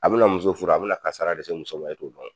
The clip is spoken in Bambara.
A bɛna muso furu a bɛna kasara de se muso ma e t'o dɔn.